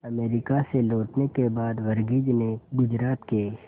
America से लौटने के बाद वर्गीज ने गुजरात के